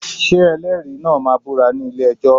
Ṣé ẹlẹ́rìí náà máa búra ní ilé-ẹjọ́?